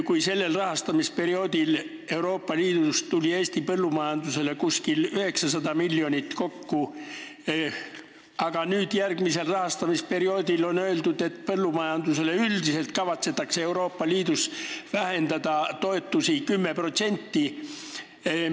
Kui sellel rahastamisperioodil tuli Eesti põllumajandusele Euroopa Liidust kokku umbes 900 miljonit, siis järgmise rahastamisperioodi kohta on öeldud, et üldiselt kavatsetakse Euroopa Liidus põllumajandustoetusi vähendada 10%.